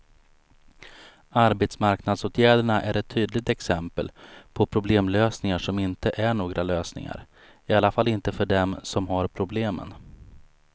Arbetsmarknadsåtgärderna är ett tydligt exempel på problemlösningar som inte är några lösningar, i alla fall inte för dem som har problemen.